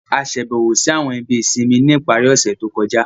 A ṣàbẹ̀wò si àwọn ibi ìsinmi ni ipari ọ̀ṣẹ̀ to kọja.